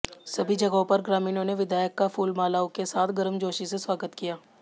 सभी जगहों पर ग्रामीणों ने विधायक का फूलमालाओं के साथ गर्मजोशी से स्वागत किया